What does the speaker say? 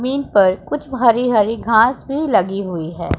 जमीन पर कुछ हरी हरी घांस भी लगी हुई है।